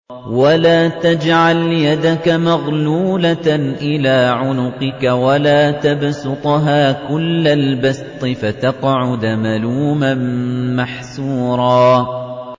وَلَا تَجْعَلْ يَدَكَ مَغْلُولَةً إِلَىٰ عُنُقِكَ وَلَا تَبْسُطْهَا كُلَّ الْبَسْطِ فَتَقْعُدَ مَلُومًا مَّحْسُورًا